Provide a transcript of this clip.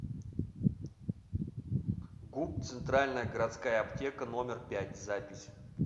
гуп центральная городская аптека номер пять запись